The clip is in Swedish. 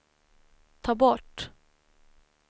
ta bort